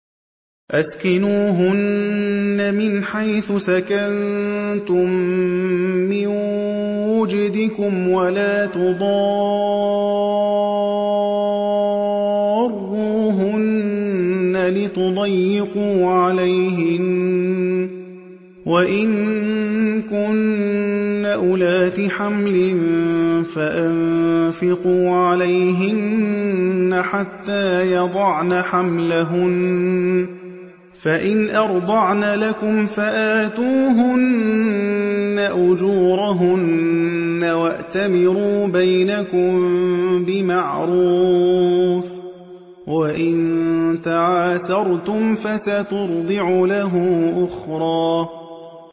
أَسْكِنُوهُنَّ مِنْ حَيْثُ سَكَنتُم مِّن وُجْدِكُمْ وَلَا تُضَارُّوهُنَّ لِتُضَيِّقُوا عَلَيْهِنَّ ۚ وَإِن كُنَّ أُولَاتِ حَمْلٍ فَأَنفِقُوا عَلَيْهِنَّ حَتَّىٰ يَضَعْنَ حَمْلَهُنَّ ۚ فَإِنْ أَرْضَعْنَ لَكُمْ فَآتُوهُنَّ أُجُورَهُنَّ ۖ وَأْتَمِرُوا بَيْنَكُم بِمَعْرُوفٍ ۖ وَإِن تَعَاسَرْتُمْ فَسَتُرْضِعُ لَهُ أُخْرَىٰ